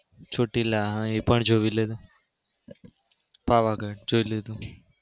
ચોટીલા એ પણ જોઈ લીધું. પાવાગઢ જોઈ લીધું.